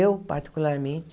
Eu, particularmente,